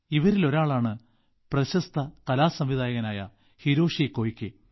ഇവരിൽ ഒരാളാണ് പ്രശസ്ത കലാസംവിധായകനായ ഹിരോഷി കൊയ്കെ